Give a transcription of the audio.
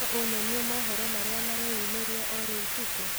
no unyonĩe mohoro marĩa mareyũmiria o rĩũ tuko